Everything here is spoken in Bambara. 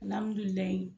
Alihamudulilayi